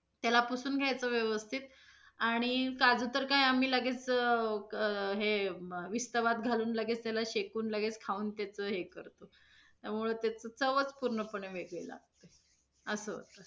त्याला पुसून घ्यायचं व्यवस्थित काजू तर काय आम्ही लगेच च्~ अं हे~ विस्तावत घालून लगेच त्याला शेकून, लगेच खाऊन घेतो हे करतो, त्यामुळे त्याची चवच पूर्णपणे वेगळी लागते. असं आहे.